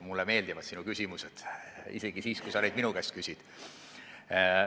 Mulle meeldivad sinu küsimused, isegi siis, kui sa neid minu käest küsid.